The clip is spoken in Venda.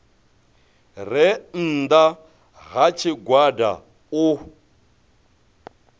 re nnda ha tshigwada u